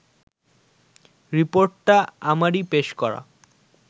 রিপোর্টটা আমারই পেশ করা